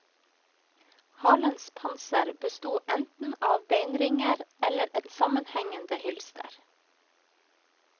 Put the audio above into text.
Halens panser besto eneten av beinringer eller et sammenhengende hylster.